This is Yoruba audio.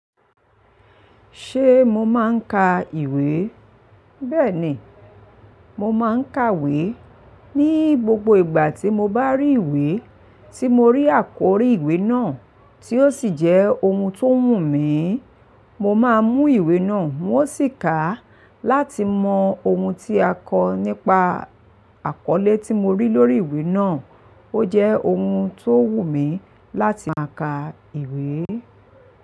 Ṣé mo máa ń ka ìwé? Bẹ́ẹ̀ni, mo máa ń kàwé. Ni gbogbo ìgbà tí mo bá rí ìwé tí mo rí àkórí ìwé náà tí ó sì jẹ́ ohun tó wù mí, mo máa mú ìwé náà hun o sì kà á láti mọ ohun tí a kọ nípa àkọlé tí mo rí lórí ìwé náà. Ó jẹ́ ohun tó wù mí láti máa ka ìwé.